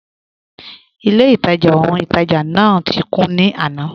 Ilẹ̀-ìtajá ọhun-ìtajá náà ti kùn ní àná.